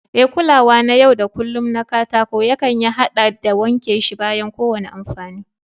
E, Kulawa na yau da kullun na katako yankan ya haɗa da wanke shi bayan kowane amfani.